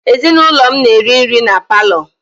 Ezinụlọ m na-eri nri na paalọ.